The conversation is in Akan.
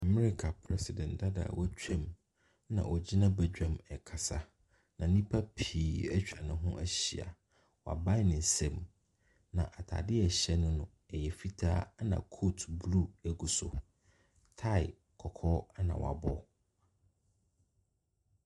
Amereka Prɛsedɛnt dada a w'atwam nna ɔgyina badwam ɛɛkasa. Na nnipa pii atwa no ho ahyia. Wabae ne nsam. Na ataadeɛ a ɛhyɛ no o,ɛyɛ fitaa ɛna kot bluu ɛgu so. Tae kɔkɔɔ ɛna w'abɔ.